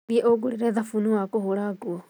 Thiĩ ũngũrĩre thabuni wa kũhũra nguo